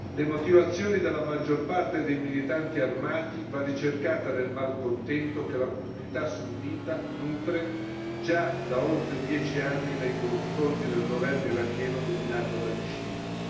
Le motivazioni della maggior parte dei militanti armati vanno ricercate nel malcontento che la comunità sunnita nutre, già da oltre dieci anni, nei confronti del governo iracheno dominato dagli sciiti.